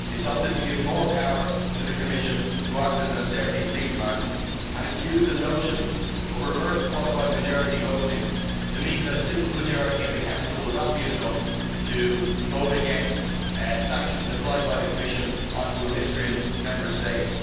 It has opted to give more power to the Commission to act as an austerity policeman and it has used the notion of reverse qualified majority voting to mean that a simple majority in the Council will not be enough to vote against sanctions applied by the Commission to a miscreant Member State.